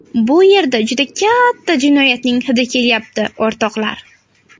Bu yerda juda katta jinoyatning hidi kelyapti, o‘rtoqlar!